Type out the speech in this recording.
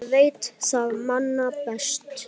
Ég veit það manna best.